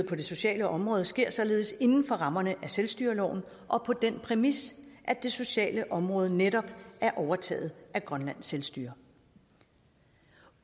på det sociale område og sker således inden for rammerne af selvstyreloven og på den præmis at det sociale område netop er overtaget af grønlands selvstyre